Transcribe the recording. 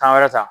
Tan wɛrɛ ta